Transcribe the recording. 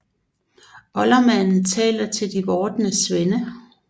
Oldermanden taler til de vordende svende